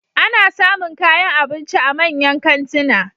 Ana samun kayan abinci a manyan kantuna.